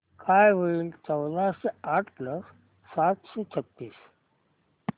काय होईल चौदाशे आठ प्लस सातशे छ्त्तीस